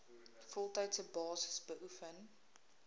voltydse basis beoefen